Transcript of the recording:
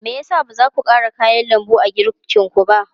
Me ya sa ba za ku ƙara kayan lambu a girkinku ba?